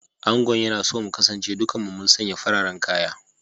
Angon yana so mu kasance dukan mu mun sanye fararen kaya